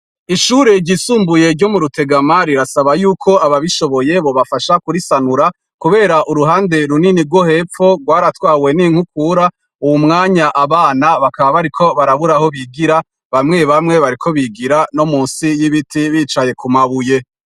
Ishure ryisumbuye ryo mu Rutegama rirasaba yuko ababishoboye bobafasha kurisanura kubera uruhande runini rwo hepfo rwaratwawe n'inkukura, uwu mwanya abana bakaba bariko barabura aho bigira, bamwe bamwe bariko bigira no musi y'ibiti bicaye ku mabuye.